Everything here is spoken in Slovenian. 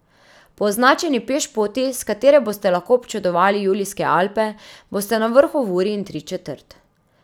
Po označeni pešpoti, s katere boste lahko občudovali Julijske Alpe, boste na vrhu v uri in tri četrt.